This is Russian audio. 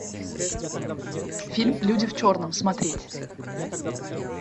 фильм люди в черном смотреть